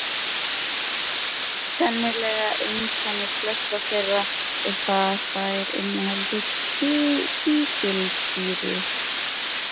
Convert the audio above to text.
Sameiginlegt einkenni flestra þeirra er það að þær innihalda kísilsýru